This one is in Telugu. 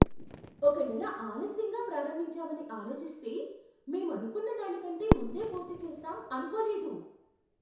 ఒక నెల ఆలస్యంగా ప్రారంభించామని ఆలోచిస్తే, మేం అనుకున్నదాని కంటే ముందే పూర్తి చేస్తాం అనుకోలేదు.